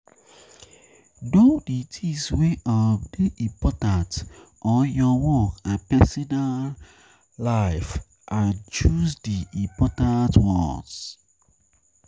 Know di things wey um dey important or your work and personal um life and choose di important ones